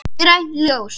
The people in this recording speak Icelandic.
Grænt ljós.